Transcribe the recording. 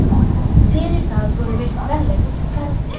Fyrir það voru veitt verðlaun, ferð til